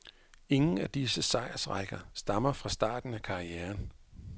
Ingen af disse sejrsrækker stammer fra starten af karrieren.